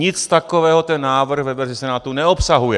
Nic takového ten návrh ve verzi Senátu neobsahuje.